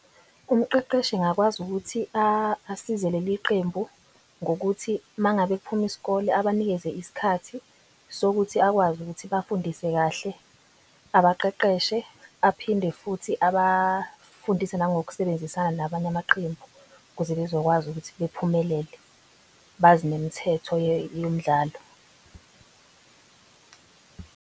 Umqeqeshi engakwazi ukuthi asize leli qembu ngokuthi mangabe kuphuma isikole abanikeze isikhathi sokuthi akwazi ukuthi bafundisise kahle. Abaqeqeshe aphinde futhi abafundisi nangokusebenzisana nabanye amaqembu ukuze bezokwazi ukuthi bephumelele. Bazi nemithetho yomdlalo.